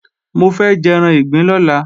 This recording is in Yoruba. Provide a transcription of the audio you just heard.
Mo fẹ́ jẹ́ran ìgbín lọ́la